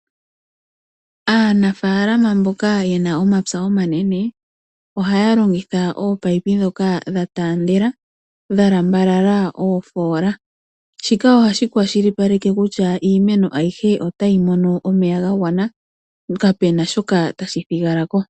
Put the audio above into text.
Aanafalama mboka yena omapya omanene ohaya longitha ominino ndhoka dha tandela dha lambalala oofola shika ohashi kwashilipaleke kutya iimeno ayihe otayi mono omeya ga gwana nokapena shoka tashi thigala ko.